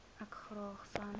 ek graag sans